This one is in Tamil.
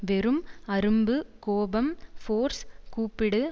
வெறும் அரும்பு கோபம் ஃபோர்ஸ் கூப்பிடு